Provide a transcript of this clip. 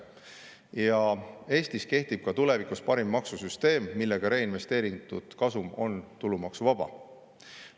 Ja Eestis kehtib ka tulevikus parim maksusüsteem, mille kohaselt reinvesteeritud kasum on tulumaksuvaba.